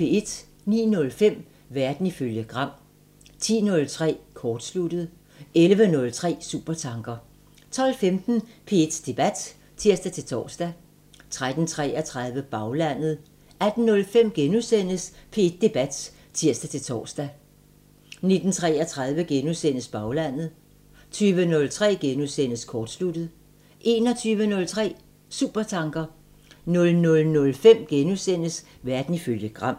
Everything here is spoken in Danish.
09:05: Verden ifølge Gram 10:03: Kortsluttet 11:03: Supertanker 12:15: P1 Debat (tir-tor) 13:33: Baglandet 18:05: P1 Debat *(tir-tor) 19:33: Baglandet * 20:03: Kortsluttet * 21:03: Supertanker 00:05: Verden ifølge Gram *